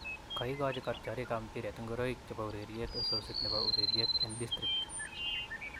Kaigochi kotyorik ak mpiret ngoroik chepo ureryeet osisit nepo ureryreet en District